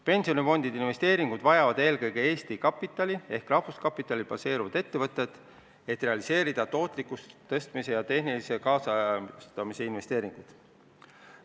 Pensionifondide investeeringuid vajavad eelkõige Eesti kapitalil ehk rahvuskapitalil baseeruvad ettevõtted, et realiseerida tootlikkuse tõstmise ja tehnilise kaasajastamise plaane.